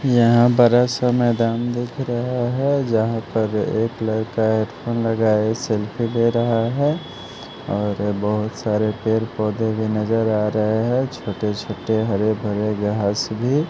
यहां बड़ा सा मैदान दिख रहा है जहां पर एक लड़का एयरफोन लगाए सेल्फी दे रहा है और बहुत सारे पेड़ पौधे भी नजर आ रहे हैं छोटे-छोटे हरे भरे घास' भी--